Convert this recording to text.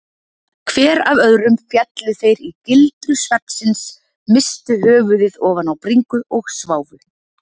Hver af öðrum féllu þeir í gildru svefnsins, misstu höfuðið ofan á bringu og sváfu.